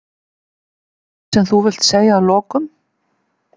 Eitthvað sem þú vilt segja að lokum?